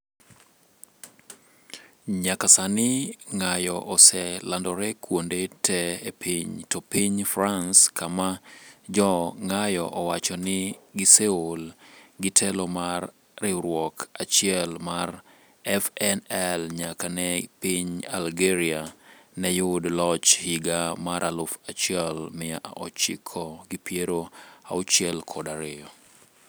Nyaka sani ng'ayo oselandore kuonde te e piny to piny France kama jo ng'ayo owacho ni giseol gi telo mar riwruok achiel mar FNL nyaka ne piny Algeria ne yud loch higa mar aluf achiel mia ochiko gi piero auchiel kod ariyo